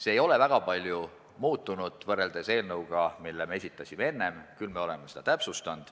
Seda ei ole väga palju muudetud võrreldes eelnõuga, mille me esitasime enne, küll aga oleme seda täpsustanud.